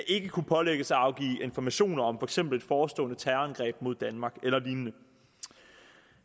ikke kunne pålægges at afgive informationer om for eksempel forestående terrorangreb mod danmark eller lignende